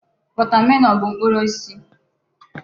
wọtamelọn bụ mkpụrụ osisi.